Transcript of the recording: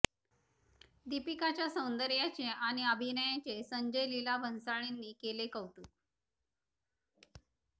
दीपिकाच्या सौंदर्याचे आणि अभिनयाचे संजय लीला भंसाळींनी केले कौतुक